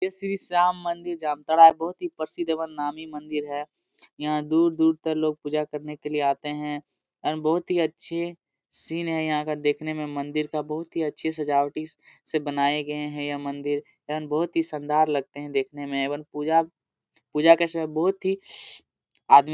ये श्री श्याम मंदिर जामताड़ा है बहुत ही प्रसिद्ध एवं नामी मंदिर है यहाँ दूर दूर तक लोग पूजा करने के लिए आते है एवं बहुत ही अच्छे सीन है यहाँ का देखने में मंदिर का बहुत ही अच्छी सजावटी से बनाये गए है ये मंदिर एवं बहुत ही सनदार लगते है ये मंदिर एवं पूजा पूजा के समय बहुत ही आदी --